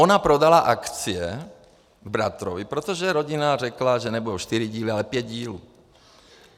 Ona prodala akcie bratrovi, protože rodina řekla, že nebudou čtyři díly, ale pět dílů.